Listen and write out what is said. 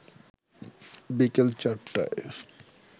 বিকেল ৪টায়